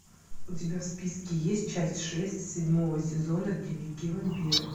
у тебя в списке есть часть шесть седьмого сезона дневники вампира